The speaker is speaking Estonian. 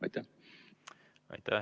Aitäh!